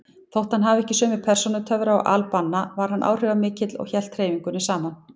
Þótt hann hefði ekki sömu persónutöfra og al-Banna var hann áhrifamikill og hélt hreyfingunni saman.